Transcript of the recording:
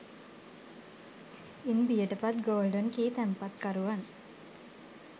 ඉන් බියට පත් golden key තැන්පතුකරුවන්